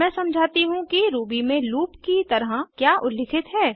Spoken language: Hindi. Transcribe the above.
अब मैं समझाती हूँ कि रूबी में लूप की तरह क्या उल्लिखित है